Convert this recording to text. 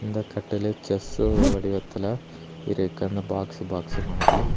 இந்த கட்டையில செஸ் வடிவத்துல இருக்கு அந்த பாக்ஸ் பாக்ஸ்சு மாரி.